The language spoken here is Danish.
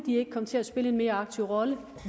komme til at spille en mere aktiv rolle